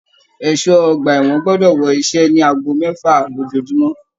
Ẹṣọ ọgbà ẹwọn gbọdọ wọ iṣẹ ní aago mẹfa lójoojúmọ́!